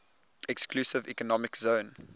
exclusive economic zone